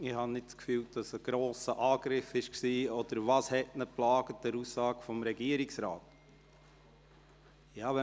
Ich habe nicht das Gefühl, dass es ein grosser Angriff war, oder was hat ihn an der Aussage des Regierungsrates gestört?